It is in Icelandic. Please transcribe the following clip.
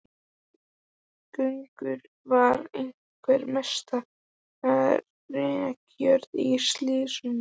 Gjögur var einhver mesta rekajörð í sýslunni.